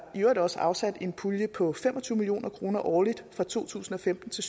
øvrigt også afsat en pulje på fem og tyve million kroner årligt fra to tusind og femten til